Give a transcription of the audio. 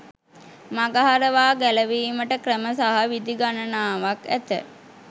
මඟහරවා ගැලවීමට ක්‍රම සහ විධි ගණනාවක් ඇත